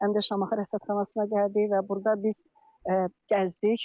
Və Şamaxı rəsədxanasına gəldik və burda biz gəzdik.